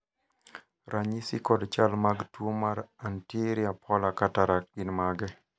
ranyisi kod chal mag tuo mar Anterior polar cataract gin mage?